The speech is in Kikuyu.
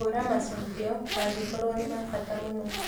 hũra macokio angĩkorũo nĩ ma bata mũno